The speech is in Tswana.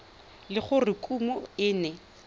le gore kumo e ne